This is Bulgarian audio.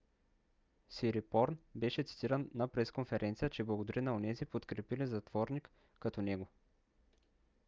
"сирипорн беше цитиран на пресконферениця че благодари на онези подкрепили затворник като него